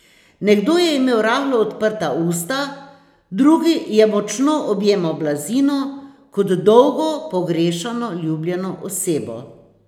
Nekdo je imel rahlo odprta usta, drugi je močno objemal blazino, kot dolgo pogrešano ljubljeno osebo.